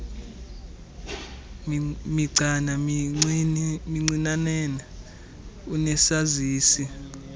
migcana mincinane unesazisi